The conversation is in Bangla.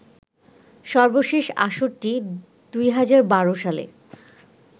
সর্বশেষ আসরটি ২০১২ সালে